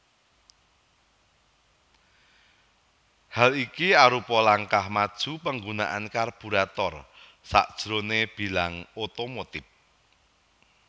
Hal iki arupa langkah maju penggunaan karburator sajroné bilang otomotif